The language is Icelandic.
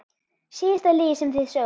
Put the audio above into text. Síðasta lygi sem þið sögðuð?